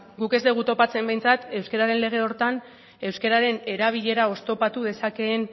guk ez dugu topatzen behintzat euskararen lege horretan euskararen erabilera oztopatu dezakeen